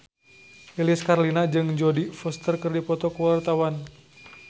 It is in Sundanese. Lilis Karlina jeung Jodie Foster keur dipoto ku wartawan